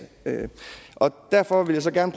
derfor vil jeg gerne